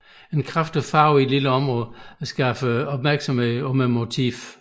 En kraftig farve i et lille område skaber opmærksomhed om motivet